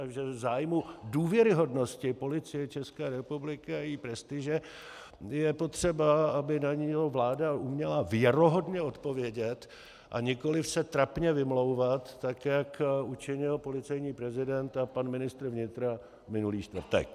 A že v zájmu důvěryhodnosti Policie České republiky a její prestiže je potřeba, aby na ně vláda uměla věrohodně odpovědět, a nikoliv se trapně vymlouvat, tak jak učinil policejní prezident a pan ministr vnitra minulý čtvrtek.